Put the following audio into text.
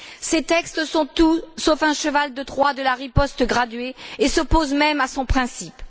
Ces textes sont tout sauf un cheval de Troie de la riposte graduée et s'opposent même à son principe.